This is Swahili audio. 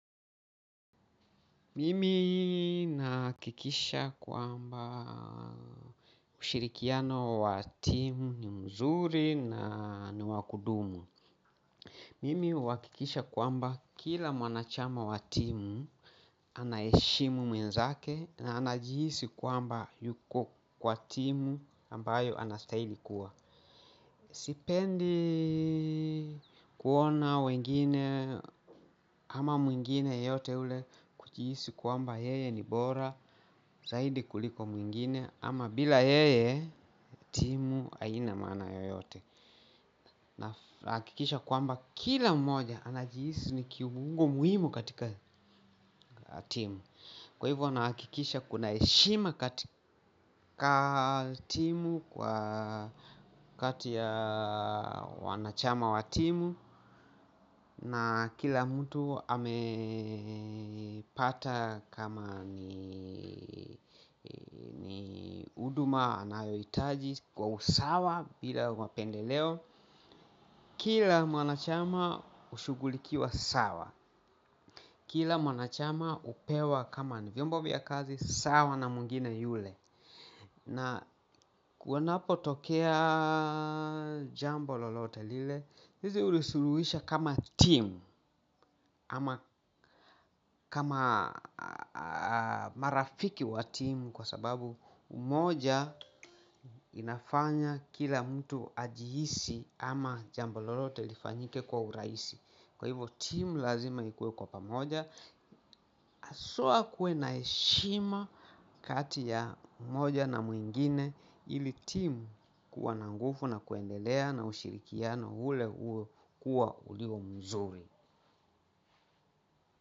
Mimi nahakikisha kwamba ushirikiano wa timu ni mzuri na ni wakudumu. Mimi hukikisha kwamba kila mwanachama wa timu, anaheshimu mwenzake na anajihisi kwamba yuko kwa timu ambayo anastahili kuwa. Sipendi kuona wengine ama mwingine yeyote ule akihisi kwamba yeye ni bora zaidi kuliko mwingine ama bila yeye timu haina maana yoyote nahakikisha kwamba kila mmoja anajihisi ni kiumuhimu muhimu katika timu. Kwa hivyo nahakikisha kuna heshima katika timu kwa kati ya wanachama wa timu na kila mtu amepata kama ni huduma anayoitaji kwa usawa bila mapendeleo kila mwanachama hushugulikiwa sawa. Kila mwanachama hupewa kama ni vyombo vya kazi sawa na mwingine yule. Na wanapotokea jambo lolote lile sisi hulisuluhisha kama timu kama marafiki wa timu kwa sababu moja inafanya kila mtu ajihisi ama jambo lolote lifanyike kwa urahisi. Kwa hivyo timu lazima ikue kwa pamoja haswa kuwe na heshima kati ya mmoja na mwingine ili timu kuwa na nguvu na kuendelea na ushirikiano ule uwe kuwa mzuri.